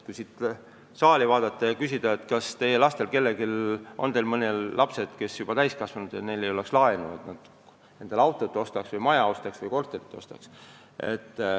Kui siit saali vaadata, tahaksin küsida, kas teie lapsed, kes on juba täiskasvanud, on võtnud laenu, et endale auto või maja või korter osta.